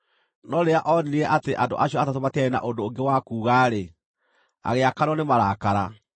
No rĩrĩa onire atĩ andũ acio atatũ matiarĩ na ũndũ ũngĩ wa kuuga-rĩ, agĩakanwo nĩ marakara.